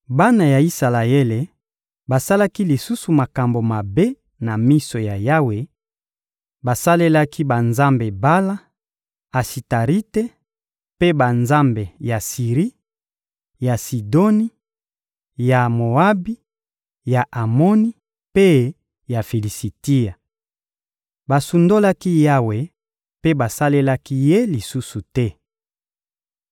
Bana ya Isalaele basalaki lisusu makambo mabe na miso ya Yawe; basalelaki banzambe Bala, Asitarite, mpe banzambe ya Siri, ya Sidoni, ya Moabi, ya Amoni mpe ya Filisitia. Basundolaki Yawe mpe basalelaki Ye lisusu te.